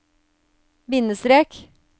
bindestrek